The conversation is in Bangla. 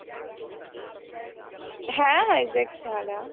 হ্যাঁ হাইজ্যাক ছাড়া।